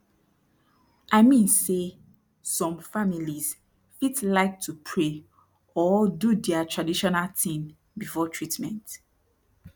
i mean say som families fit like to pray or do dia traditional tin before treatment